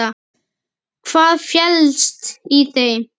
Hvað felst í þeim?